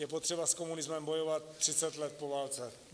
Je potřeba s komunismem bojovat 30 let po válce.